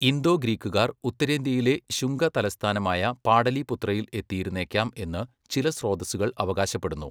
Indo ഗ്രീക്കുകാർ ഉത്തരേന്ത്യയിലെ ശുംഗ തലസ്ഥാനമായ പാടലീപുത്രയിൽ എത്തിയിരുന്നേക്കാം എന്ന് ചില സ്രോതസ്സുകൾ അവകാശപ്പെടുന്നു.